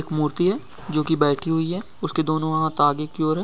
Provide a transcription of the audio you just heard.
मूर्ति है जो की बैठी हुई है| उसके दोनों हाथ आगे की ओर है।